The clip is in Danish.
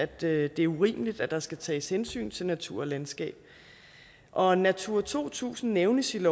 det det er urimeligt at der skal tages hensyn til natur og landskab og natura to tusind nævnes i